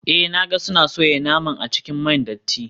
Eh na ga suna soya naman a cikin man datti.